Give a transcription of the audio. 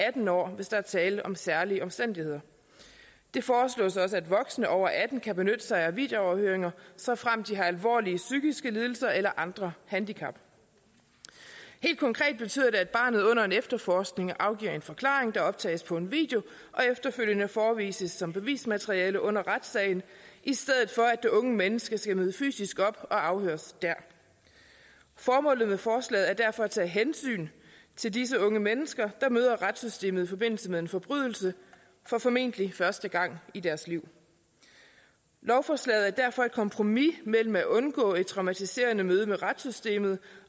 atten år hvis der er tale om særlige omstændigheder det foreslås også at voksne over atten år kan benytte sig af videoafhøringer såfremt de har alvorlige psykiske lidelser eller andre handicap helt konkret betyder det at barnet under en efterforskning afgiver en forklaring der optages på en video og efterfølgende forevises som bevismateriale under retssagen i stedet for at det unge menneske skal møde fysisk op og afhøres dér formålet med forslaget er derfor at tage hensyn til disse unge mennesker der møder retssystemet i forbindelse med en forbrydelse for formentlig første gang i deres liv lovforslaget er derfor et kompromis mellem at undgå et traumatiserende møde med retssystemet